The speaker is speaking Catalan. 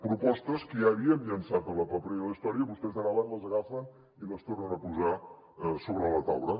propostes que ja havíem llançat a la paperera de la història vostès ara van les agafen i les tornen a posar sobre la taula